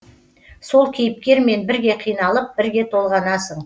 сол кейіпкермен бірге қиналып бірге толғанасың